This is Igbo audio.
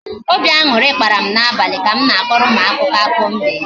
Obi añụrị kpara m n'abalị ka m na-akọrọ ụmụaka akụkọ mbe